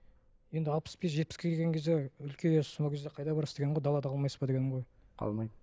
енді алпыс бес жетпіске келген кезде үлкейесіз сол кезде қайда барасыз дегенім ғой далада қалмайсыз ба дегенім ғой қалмаймын